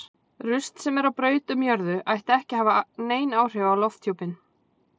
Rusl sem er á braut um jörðu ætti ekki að hafa nein áhrif á lofthjúpinn.